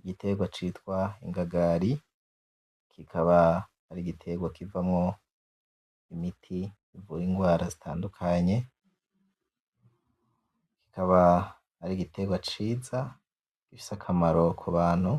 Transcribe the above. Igiterwa citwa ingagari, kikaba ari igiterwa kivamwo imiti ivura ingwara zitadukanye kikaba ari igiterwa ciza, gifise akamaro kubantu,